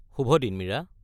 শুভ দিন, মীৰা।